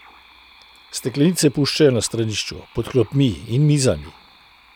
Steklenice puščajo na stranišču, pod klopmi in mizami.